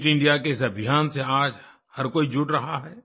fit India के इस अभियान से आज हर कोई जुड़ रहा है